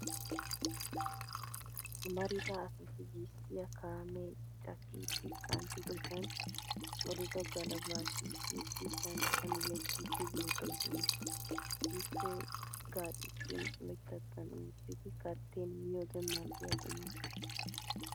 Amarida asati gisttiya kaamee cakkidi kanttidosan olodo galbbaa shiishshidi shanxxan yeggiiddi beettoosona. Gisttee gaaccissin oyittattan oottidi kaattin miyode mal'iyaa quma.